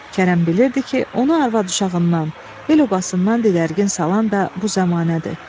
Kərəm bilirdi ki, onu arvad-uşağından, el-obasından didərgin salan da bu zəmanədir.